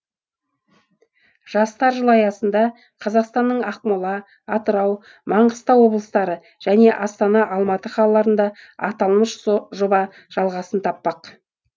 жастар жылы аясында қазақстанның ақмола атырау маңғыстау облыстары және астана алматы қалаларында аталмыш жоба жалғасын таппақ